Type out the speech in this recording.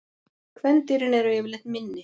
Kvendýrin eru yfirleitt minni.